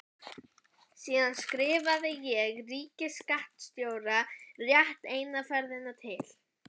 Virtist fremur þreytuleg með einhver alvöruþrungin orð á vörunum.